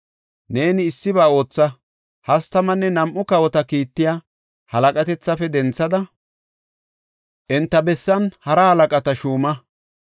Neeni issiba ootha; hastamanne nam7u kawota kiittiya halaqatethafe denthada enta bessan hara halaqata shuuma.